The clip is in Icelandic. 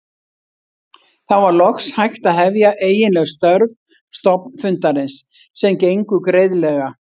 Þá var loks hægt að hefja eiginleg störf stofnfundarins sem gengu greiðlega.